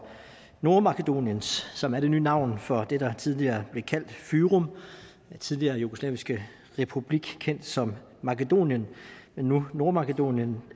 nordmakedonien som er det nye navn for det der tidligere blev kaldt fyrom den tidligere jugoslaviske republik kendt som makedonien men nu nordmakedonien